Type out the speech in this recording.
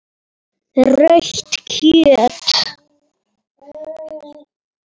Rautt kjöt.